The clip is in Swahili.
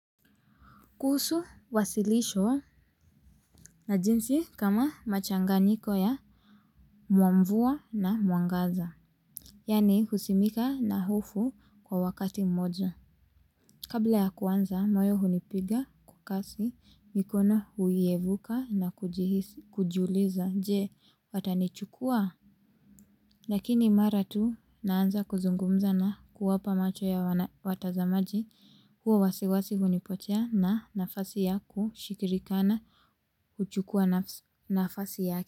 Kuhusu wasilisho na jinsi kama machanganiko ya mwa mvua na mwangaza. Yaani husimika na hofu kwa wakati mmoja. Kabla ya kuanza, moyo hunipiga kwa kasi mikono huyevuka na kujiuliza. Je, watanichukua? Lakini mara tu naanza kuzungumza na kuwapa macho ya watazamaji huo wasiwasi hunipotea na nafasi ya kushikirikana kuchukua nafasi yake.